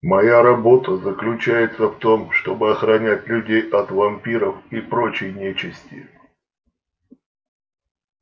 моя работа заключается в том чтобы охранять людей от вампиров и прочей нечисти